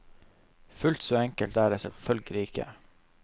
Fullt så enkelt er det selvfølgelig ikke.